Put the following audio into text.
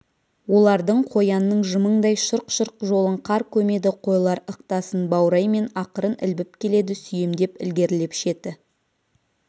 олардың қоянның жымыңдай шұрқ-шұрқ жолын қар көмеді қойлар ықтасын баураймен ақырын ілбіп келеді сүйемдеп ілгерілеп шеті